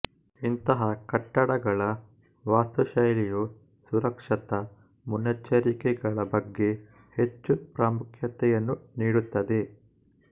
ಇಂತಹಾ ಕಟ್ಟಡಗಳ ವಾಸ್ತುಶೈಲಿಯು ಸುರಕ್ಷತಾ ಮುನ್ನೆಚ್ಚರಿಕೆಗಳ ಬಗ್ಗೆ ಹೆಚ್ಚು ಪ್ರಾಮುಖ್ಯತೆಯನ್ನು ನೀಡುತ್ತದೆ